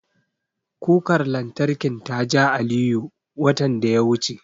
Kukar lantarkin ta ja Aliyu, watan da ya wuce.